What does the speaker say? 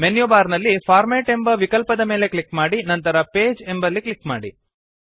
menu bar ನಲ್ಲಿ format ಎಂಬ ವಿಕಲ್ಪದ ಮೇಲೆ ಕ್ಲಿಕ್ ಮಾಡಿ ನಂತರ ಪೇಜ್ ಎಂಬಲ್ಲಿ ಕ್ಲಿಕ್ ಮಾಡಿ